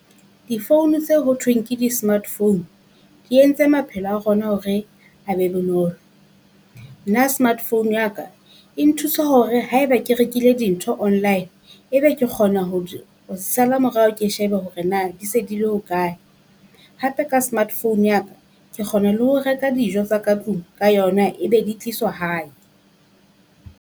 Di phone tse ho thweng ke di smart phone, di entse maphelo a rona hore a be bonolo. Nna smart phone ya ka e nthusa hore haeba ke rekile dintho online, e be be ke kgona ho di ho sala morao ke shebe hore na di se di le hokae, hape ka smart phone ya ka ke kgona ho reka dijo tsa ka tlung ka yona e be di tliswa hae.